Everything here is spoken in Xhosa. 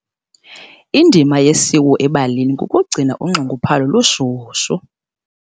Indima yesiwo ebalini kukugcina unxunguphalo lushushu.